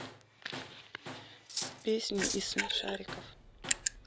песни из смешариков